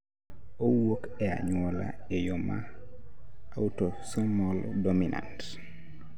Owuok e anyuola e yo ma autosomal dominant